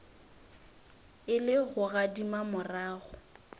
e le go gadima morago